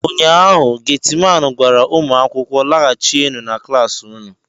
ụnyaahụ, Getiman gwara ụmụ akwụkwọ, laghachienu na klas unu!